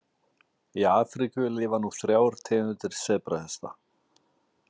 Í Afríku lifa nú þrjár tegundir sebrahesta.